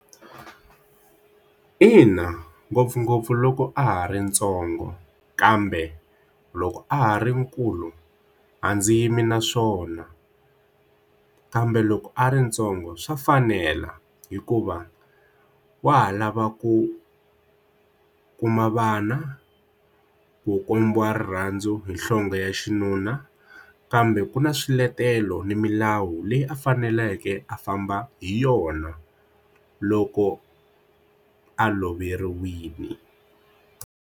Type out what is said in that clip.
Ina, ngopfungopfu loko a ha ri ntsongo kambe loko a ha ri nkulu a ndzi yimi na swona kambe loko a ri ntsongo swa fanela hikuva wa ha lava ku kuma vana ku kombiwa rirhandzu hi nhlonge ya xinuna kambe ku na swiletelo na milawu leyi a faneleke a famba hi yona loko a loveriwile.